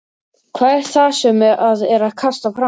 Hvað er það sem að er kastað fram?